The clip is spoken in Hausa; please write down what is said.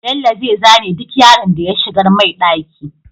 Bello zai zane duk yaron da ya shigar mai ɗaki